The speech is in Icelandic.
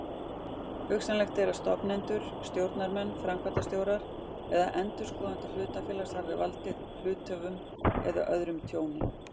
Hugsanlegt er að stofnendur, stjórnarmenn, framkvæmdastjórar eða endurskoðendur hlutafélags hafi valdið hluthöfum eða öðrum tjóni.